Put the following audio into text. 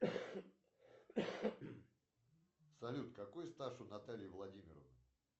салют какой стаж у натальи владимировны